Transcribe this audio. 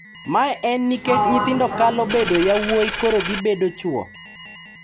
Mae en nikech nyithindo kalo bedo yowuoyi koro gibedo chwo.